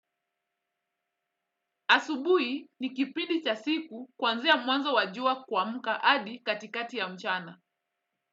Asubuhi ni kipindi cha siku kuanzia mwanzo wa jua kuamka hadi katikati ya mchana.